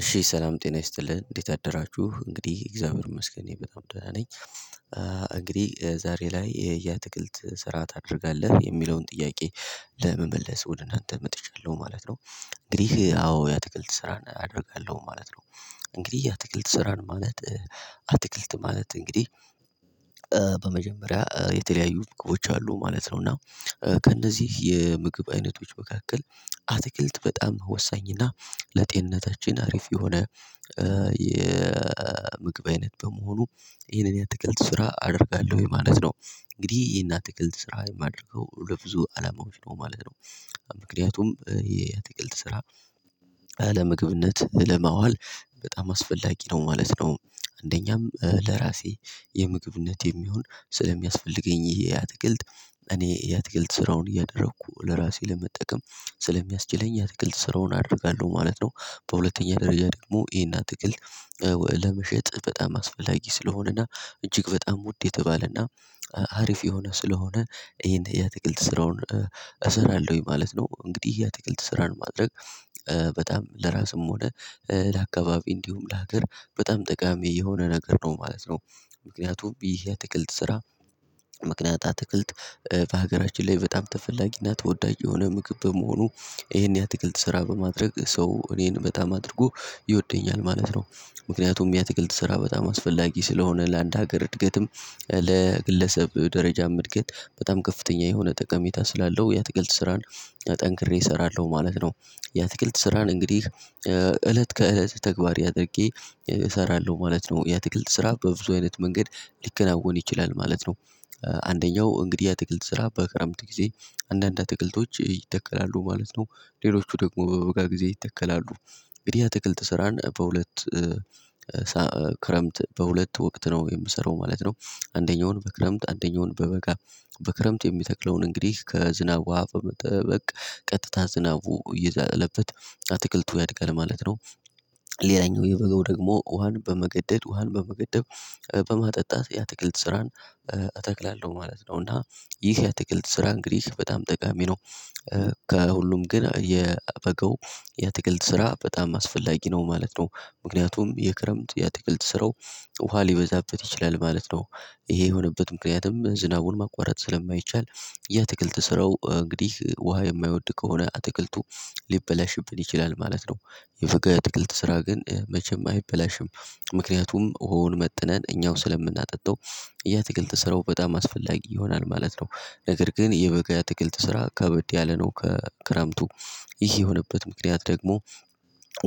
እሺ ሰላም ጤና ይስጥልን እንዴት አደራችሁ እንግዲህ እግዚአብሔር ይመስገን እኔ በጣም ደህና ነኝ። እንግዲህ ዛሬ ላይ ያአትክልት ስራ ታደርጋለህ የሚለውን ጥያቄ ለመመለስ ወደ እናንተ መጥቻለሁ ማለት ነው። እንግዲህ አዎ ያአትክልት ስራን አደርጋለሁ ማለት ነው። እንግዲህ ያአትክልት ስራን ማለት አትክልት ማለት እንግዲህ። በመጀመሪያ የተለያዩ ምግቦች አሉ ማለት ነው እና። ከእነዚህ የምግብ አይነቶች መካከል አትክልት በጣም ወሳኝ እና ለጤንነታችን አሪፍ የሆነ የምግብ አይነት በመሆኑ ይህንን ያትክልት ስራ አደርጋለሁ ወይ ማለት ነው። እንግዲህ ይህን ትክልት ስራ ማደርገው ለብዙ አላማዎች ነው ማለት ነው። ምክንያቱም የአትክልት ስራ ለምግብነት ለማዋል በጣም አስፈላጊ ነው ማለት ነው። አንደኛም ለራሴ የምግብነት የሚሆን ስለሚያስፈልገኝ ይህ አትክልት እኔ ያአትክልት ስራውን እያደረኩ ለራሴ ለመጠቀም ስለሚያስችለኝ ያአትክልት ስራውን አደርጋለሁ ማለት ነው። በሁለተኛ ደረጃ ደግሞ ይሄን አትክልት ለመሸጥ በጣም አስፈላጊ ስለሆነ እና እጅግ በጣም ውድ የተባለና አሪፍ የሆነ ስለሆነ ይሄን ያአትክልት ስራውን እሰራለሁኝ ማለት ነው። እንግዲህ ያአትክልት ስራን ማድረግ በጣም ለራስም ሆነ ለአካባቢ እንዲሁም ለሀገር በጣም ጠቃሚ የሆነ ነገር ነው ማለት ነው። ምክንያቱም ይህ ያአትክልት ስራ ምክንያታት አትክልት በሀገራችን ላይ በጣም ተፈላጊ እና ተወዳጅ የሆነ ምግብ በመሆኑ እሄን ያትክልት ስራ በማድረግ ሰው እኔን በጣም አድርጎ ይወደኛል ማለት ነው። ምክንያቱም የአትክልት ትሰራ በጣም አስፈላጊ ስለሆነ ለአንድ ሀገር እድገትም ለግለሰብ ደረጃም እድገት በጣም ከፍተኛ የሆነ ጠቀሜታ ስላለው የአትክልት ስራን ጠንክሬ እሰራለሁ ማለት ነው። የአትክልት ስራን እንግዲህ እለት ከእለት ተግባሬ አድርጌ እሰራለሁ ማለት ነው። የትክልት ስራ በብዙ አይነት መንገድ ሊከናወን ይችላል ማለት ነው። አንደኛው እንግዲህ የአትክልት ስራ በክረምት ጊዜ አንዳንድ አትክልቶች ይተከላሉ ማለት ነው። ሌሎቹ ደግሞ በበጋ ጊዜ ይተከላሉ። እንግዲህ ያአትክልት ስራን በሁለት ክረምት በሁለት ወቅት ነው የምሰራው ማለት ነው። አንደኛውን በክረምት አንደኛውን በበጋ በክረምት የሚተክለውን እንግዲህ ከዝናብ ውሃ በመጠበቅ ቀጥታ ዝናቡ አየዛለበት አትክልቱ ያድጋል ማለት ነው። ሌላኛው የበጋው ደግሞ ውሃን በመገደድ ውሃን በመገደብ በማጠጣት ያአትክልት ስራን አተክላለሁ ማለት ነው። እና ይህ ያአትክልት ስራ እንግዲህ በጣም ጠቃሚ ነው። ከሁሉም ግን የበገው የትክልት ስራ በጣም አስፈላጊ ነው ማለት ነው። ምክንያቱም የክረምት የአትክልት ስራው ውሃ ሊበዛበት ይችላል ማለት ነው። ይሄ የሆነበት ምክንያቱም ዝናቡን ማቋረጥ ስለማይቻል የአትክልት ስራው እንግዲህ ውሃ የማይወድ ከሆነ አትክልቱ ሊበላሽብን ይችላል ማለት ነው። የበጋ የአትክልት ስራ ግን መቼም አይበላሽም። ምክንያቱም ውሃውን መጥነን እኛው ስለምናጠጣው ያአትክልት ስራው በጣም አስፈላጊ ይሆናል ማለት ነው። ነገር ግን የበጋ ያአትክልት ስራ ከብድ ያለ ነው ከክረምቱ ይህ የሆነበት ምክንያት ደግሞ